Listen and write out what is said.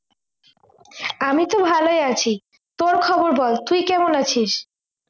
আমি তো ভালোই আছি তোর খবর বল তুই কেমন আছিস